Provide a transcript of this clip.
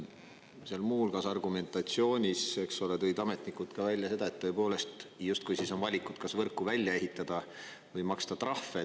Seal muu hulgas argumentatsioonis, eks ole, tõid ametnikud välja seda, et tõepoolest justkui siis on valikud kas võrku välja ehitada või maksta trahve.